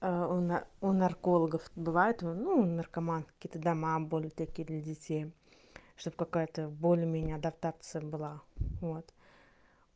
а у наркологов бывает ну наркоманки ты дома были такие для детей чтобы какая-то более-менее адаптация была вот